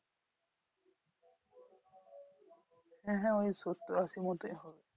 হ্যাঁ হ্যাঁ ওই সত্তর আশির মতোই হবে।